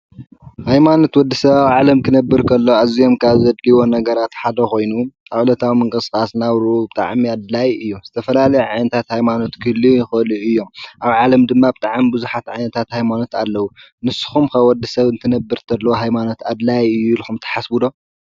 ሃይማኖት ወዲሰብ ኣብ ዓለም ክነብር ከሎ ኣዝዮም ካብ ዘድልዩዎ ነገራት ሓደ ኮይኑ ዕለታዊ ምቅስቃስ ናብርኡ ብጣዕሚ ኣድላይ እዩ፡፡ ዝተፈላለየ ዓይነታት ሃይማኖት ክህልው ይክእሉ እዮም፡፡ ኣብ ዓለም ድማ ብጣዕሚ ብዙሓት ሃይማኖት ኣለው፡፡ ንስኩም ከ ወዲሰብ ክነብር ከሎ ሃይማኖት ኣድላይ እዩ ኢልኩም ትሓስቡ ዶ?